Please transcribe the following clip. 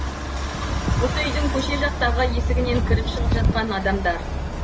осы үйдің көше жақтағы есігінен кіріп шығып жатқан адамдар